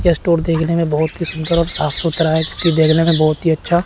यह स्टोर देखने में बहुत ही सुंदर और साफ सुथरा है जो कि देखने में बहुत ही अच्छा --